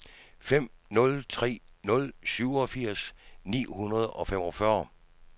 fem nul tre nul syvogfirs ni hundrede og femogfyrre